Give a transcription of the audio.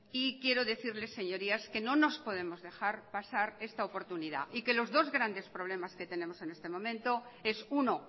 y quiero decirles señorías que no nos podemos dejar pasar esta oportunidad y que los dos grandes problemas que tenemos en este momento es uno